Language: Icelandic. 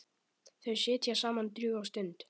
Þau sitja saman drjúga stund.